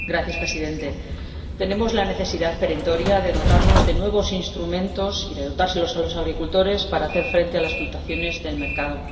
Señor Presidente, tenemos la necesidad perentoria de dotarnos de nuevos instrumentos y de dotar de ellos a los agricultores para hacer frente a las fluctuaciones del mercado.